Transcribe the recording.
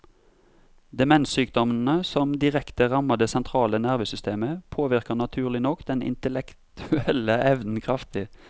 Demenssykdommene, som direkte rammer det sentrale nervesystemet, påvirker naturlig nok den intellektuelle evnen kraftig.